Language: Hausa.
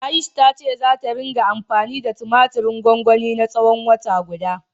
Ayush ta ce zata ringa anfani da tumatirin gwangwanin na tsawon wata guda.